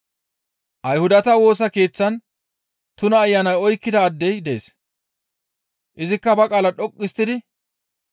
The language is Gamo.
Ayhudata Woosa Keeththan tuna ayanay oykkida addey dees. Izikka ba qaala dhoqqu histtidi,